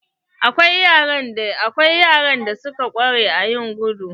Akwai yaran da suka ƙware a yin gudu.